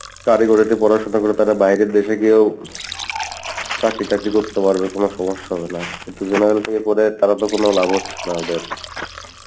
কারিগরী তে পড়াশোনা করে তারা বাইরের দেশে গিয়েও চাকরি টাকরি করতে পারবে, কোনো সমস্যা হবে না কিন্তু general থেকে করে তাহলে তো কোনো লাভ হচ্ছে না ওদের